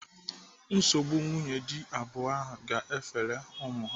Nsogbu nwunye dị abụọ ahụ ga-efere ụmụ ha.